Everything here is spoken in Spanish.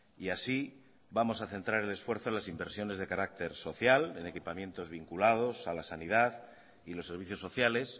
y así vamos a centrar el esfuerzo en las inversiones de carácter social en equipamientos vinculados a la sanidad y los servicios sociales